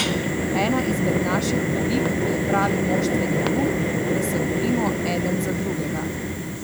Ena izmed naših odlik je pravi moštveni duh, da se borimo eden za drugega.